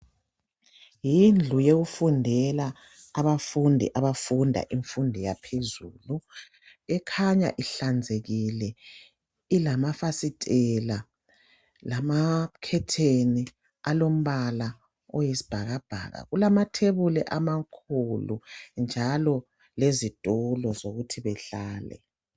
Yindlu yokufundela abafundi abafunda imfundo yaphezulu .Ekhanya ihlanzekile ilamafasitela ,lamakhetheni alombala oyisibhakabhaka. Kulamathebuli amakhulu njalo lezithulo zokuthi behlale.